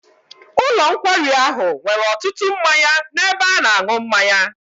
Ụlọ nkwari ahụ nwere ọtụtụ mmanya n'ebe a na-aṅụ mmanya.